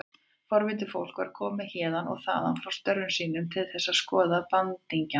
Forvitið fólk var komið héðan og þaðan frá störfum sínum til þess að skoða bandingjana.